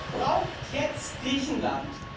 Was braucht jetzt Griechenland?